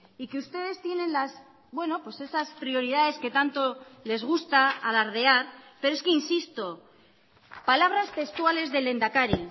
y que ustedes tienen las bueno pues esas prioridades que tanto les gusta alardear pero es que insisto palabras textuales del lehendakari